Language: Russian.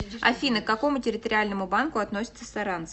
афина к какому территориальному банку относится саранск